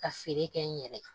Ka feere kɛ n yɛrɛ kan